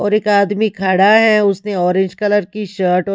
और एक आदमी खड़ा है उसने ऑरेंज कलर की शर्ट --